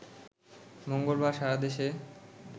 মঙ্গলবার সারা দেশে